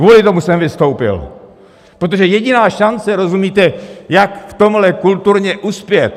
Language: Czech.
Kvůli tomu jsem vystoupil, protože jediná šance, rozumíte, jak v tomhle kulturně uspět...